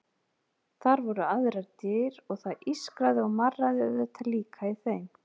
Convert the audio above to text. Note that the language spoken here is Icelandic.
Þar voru aðrar dyr og það ískraði og marraði auðvitað líka í þeim.